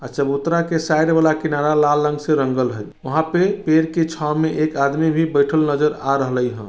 आ चबूतरा के साइड वाला किनारा लाल रंग से रंगल हय वहाँ पे पेड़ की छाव में एक आदमी भी बइठल नजर आ रहलइ ह।